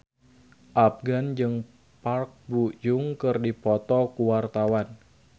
Afgan jeung Park Bo Yung keur dipoto ku wartawan